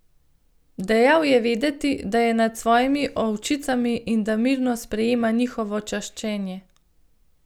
Dajal je vedeti, da je nad svojimi ovčicami in da mirno sprejema njihovo čaščenje.